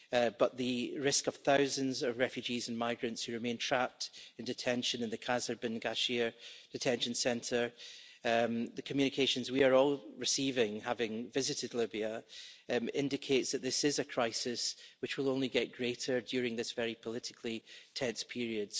But the risk of thousands of refugees and migrants who remain trapped in detention in the Qasr bin Ghashir detention centre, and the communications we are all receiving having visited Libya, indicates that this is a crisis which will only get greater during this very politically tense period.